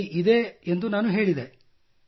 ನನ್ನ ಬಳಿ ಇದೆ ಎಂದು ನಾನು ಹೇಳಿದೆ